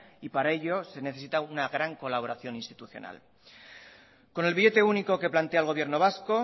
y para ello se necesita una gran colaboración institucional con el billete único que plantea el gobierno vasco